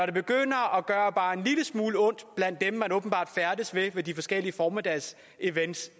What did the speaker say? det begynder at gøre bare en lille smule ondt blandt dem man åbenbart færdes blandt ved de forskellige formiddagsevents